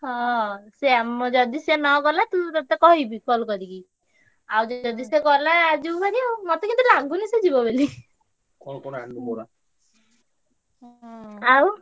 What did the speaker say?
ହଁ ସେଇଆ ଯଦି ସିଏ ନା ଗଲା ମୁଁ କହିବି ତତେ call କରିକି। ଆଉ ଯଦି ସିଏ ଗଲା ଯିବୁ ଭାରି ଆଉ ମତେ କାଇଁ ଲାଗୁନି ସିଏ ଯିବ ବୋଲି। ଆଉ।